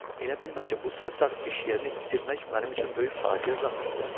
Elə bilmə ki, bu sarsaq iş yerini itirmək mənim üçün böyük faciə zaddır.